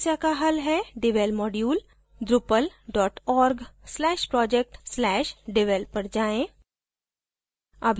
इस समस्या का हल है devel module drupal org/project/devel पर जाएँ